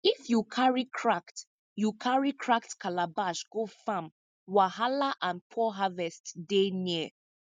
if you carry cracked you carry cracked calabash go farm wahala and poor harvest dey near